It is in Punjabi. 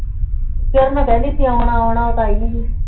ਕਿਰਨ ਕਿਹੰਦੀ ਸੀ ਓਨਾ ਓਨਾ ਫੇਰ ਆਈ ਨਹੀਂ